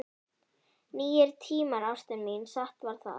Nýir tímar, ástin mín, satt var það.